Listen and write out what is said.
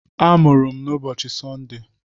A mụrụ m n'ụbọchị Sọnde